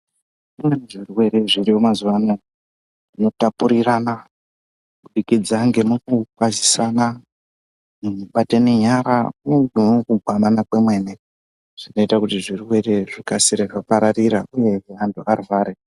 Kune zvirwere zviriyo mazuva anaya zvino tapurirana kubudikidza nge muku kwazisana neku batene nyara uye muku gwamana kwemene zvinoita kuti zvirwere zvikasire kupararira uye vantu varware.